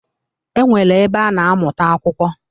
E nwere ebe a na-amụta akwụkwọ.